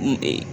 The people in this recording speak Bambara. N